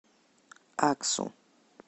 аксу